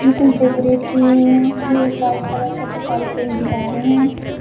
कुछ डेकोरेट किए हुए हैं ये एक व्हाइट कलर का पूरी दीवारें हैं।